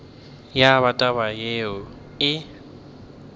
ya ba taba yeo e